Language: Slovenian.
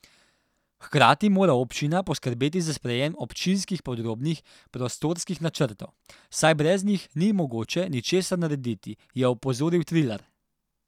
Hkrati mora občina poskrbeti za sprejem občinskih podrobnih prostorskih načrtov, saj brez njih ni mogoče ničesar narediti, je opozoril Trilar.